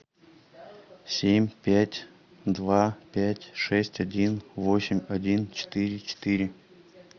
семь пять два пять шесть один восемь один четыре четыре